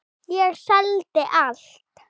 Ég seldi allt.